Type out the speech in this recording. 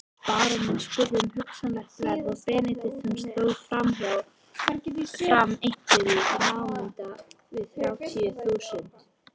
Baróninn spurði um hugsanlegt verð og Benediktsson sló fram einhverju í námunda við þrjátíu þúsund.